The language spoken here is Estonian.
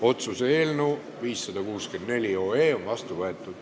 Otsuse eelnõu 564 on vastu võetud.